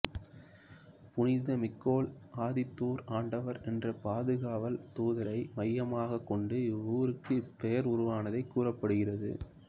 புனித மிக்கேல் அதிதூதர் ஆண்டவர் என்ற பாதுகாவல் தூதரை மையமாக கொண்டு இவ்வூருக்கு இப்பெயர் உருவானதாக கூறப்படுகிறது